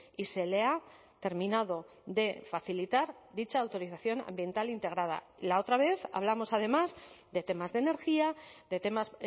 y se le ha terminado de facilitar dicha autorización ambiental integrada la otra vez hablamos además de temas de energía de temas